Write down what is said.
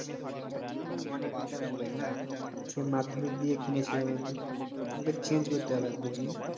হ্যাঁ ভাই অনেকদিন কার mobile না সে মাধ্যমিক দিয়ে কিনেছিলাম আমি আমাকে change করতে হবে বুঝলি